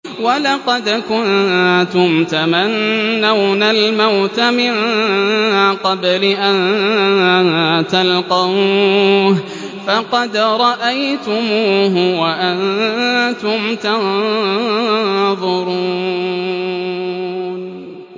وَلَقَدْ كُنتُمْ تَمَنَّوْنَ الْمَوْتَ مِن قَبْلِ أَن تَلْقَوْهُ فَقَدْ رَأَيْتُمُوهُ وَأَنتُمْ تَنظُرُونَ